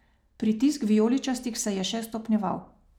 Pritisk vijoličastih se je še stopnjeval.